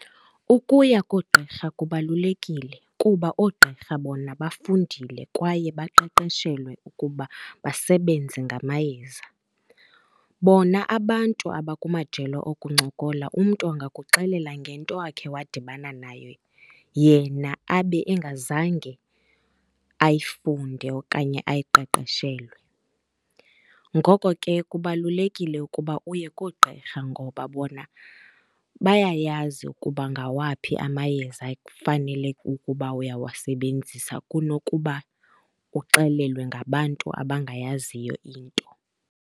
Ukuya koogqirha kubalulekile kuba oogqirha bona bafundile kwaye baqeqeshelwe ukuba basebenze ngamayeza. Bona abantu abakumajelo okuncokola, umntu angakuxelela ngento awakhe wadibana nayo yena abe engazange ayifunde okanye ayiqeqeshelwe. Ngoko ke, kubalulekile ukuba uye koogqirha ngoba bona bayayazi ukuba ngawaphi amayeza ekufanele ukuba uyawasebenzisa kunokuba uxelelwe ngabantu abangayaziyo into.